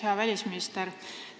Hea välisminister!